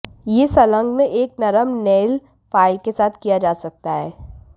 यह संलग्न एक नरम नेल फाइल के साथ किया जा सकता है